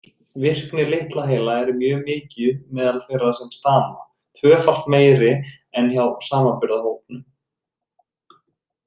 Virkni litla heila er mjög mikil meðal þeirra sem stama, tvöfalt meiri en hjá samanburðarhópnum.